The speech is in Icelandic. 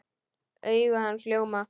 Augu hans ljóma.